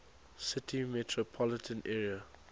city metropolitan area